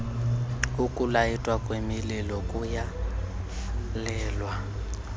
ukulayitwa kwemililo kuyalelwa